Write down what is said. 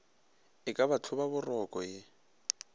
e ka ba hlobaboroko ye